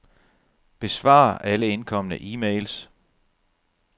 Besvar alle indkomne e-mails.